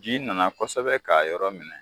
Ji nana kosɛbɛ k'a yɔrɔ minɛ.